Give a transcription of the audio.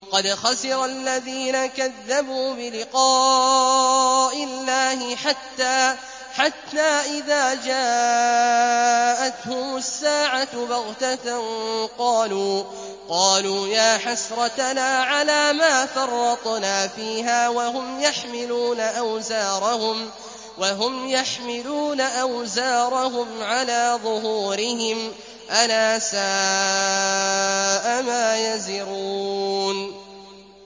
قَدْ خَسِرَ الَّذِينَ كَذَّبُوا بِلِقَاءِ اللَّهِ ۖ حَتَّىٰ إِذَا جَاءَتْهُمُ السَّاعَةُ بَغْتَةً قَالُوا يَا حَسْرَتَنَا عَلَىٰ مَا فَرَّطْنَا فِيهَا وَهُمْ يَحْمِلُونَ أَوْزَارَهُمْ عَلَىٰ ظُهُورِهِمْ ۚ أَلَا سَاءَ مَا يَزِرُونَ